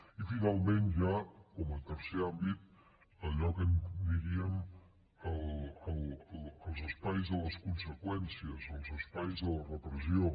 i finalment ja com a tercer àmbit allò que en diríem els espais de les conseqüències els espais de la repressió